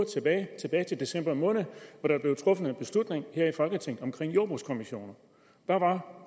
tilbage til december måned hvor der blev truffet en beslutning her i folketinget om jordbrugskommissioner hvad var